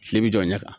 Kile bɛ jɔ ɲɛ kan